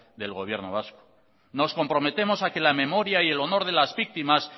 del gobierno vasco nos comprometemos a que la memoria y el honor de las víctimas